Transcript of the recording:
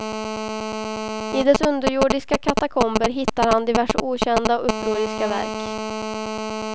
I dess underjordiska katakomber hittar han diverse okända och upproriska verk.